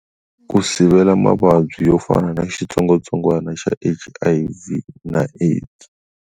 Ku sivela mavabyi yo fana na xitsongwatsongwana xa H_I_V na AIDS.